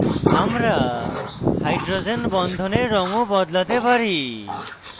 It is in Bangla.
আমরা hydrogen বন্ধনের রঙ of বদলাতে পারি